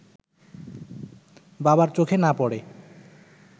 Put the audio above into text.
বাবার চোখে না পড়ে